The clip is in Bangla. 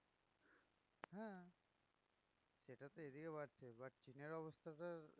হ্যাঁ সেটা তো এদিকে বাড়ছে but এর অবস্থা তো